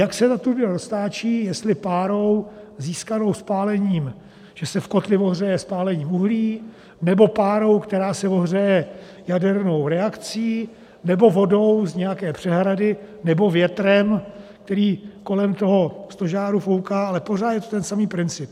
Jak se ta turbína roztáčí, jestli párou získanou spálením, že se v kotli ohřeje spálením uhlí, nebo párou, která se ohřeje jadernou reakcí, nebo vodou z nějaké přehrady, nebo větrem, který kolem toho stožáru fouká, ale pořád je to ten samý princip.